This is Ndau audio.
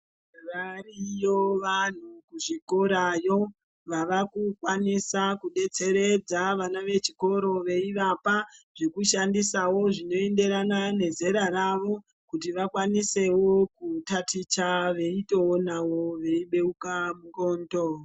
Variyo vantu kuzvikorayo wava kukwanisa kudetseredza vana vechikoro weivapa zvinoshandisa zvimweni zvinoenderana nezera ravo kuti vakwanisewo kutaticha weitoonavo weyibeuka n'ondo weyishandisawo zvezera ravo kuti wakwanise kutaticha weyitoonavo weyibeuka n'ondo.